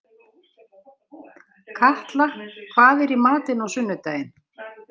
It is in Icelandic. Katla, hvað er í matinn á sunnudaginn?